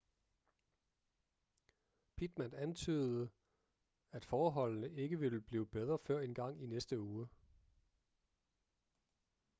pittman antydede at forholdene ikke ville blive bedre før engang i næste uge